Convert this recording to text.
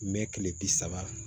Mɛ kile bi saba